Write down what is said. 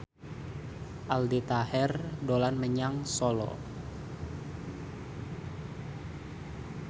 Aldi Taher dolan menyang Solo